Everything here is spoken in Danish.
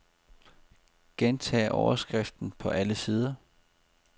Gentag overskriften på alle sider.